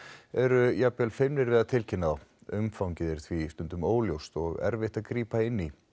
eru jafnvel feimin við að tilkynna þá umfangið er því óljóst og erfitt að grípa inn í